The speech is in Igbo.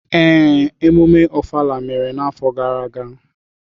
Ee, emume Ofala mere n’afọ gara aga.